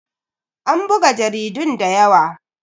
An buga jaridun da yawa.